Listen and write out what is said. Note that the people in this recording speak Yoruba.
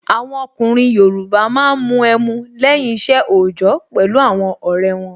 Àwọn ọkùnrin Yoruba máa ń mu ẹmu lẹ́yìn isẹ ojọ pẹ̀lú àwọn ọrẹ won